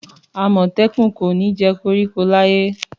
Àmọ̀tẹ́kùn kò ní jẹ koríko láyé